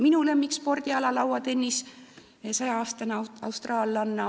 Minu lemmikspordiala lauatennis ja 100-aastane austraallanna.